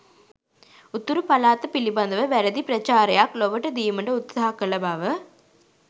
උතුරු පළාත පිළිබඳව වැරදි ප්‍රචාරයක් ලොවට දීමට උත්සාහ කළ බව